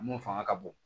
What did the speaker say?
Mun fanga ka bon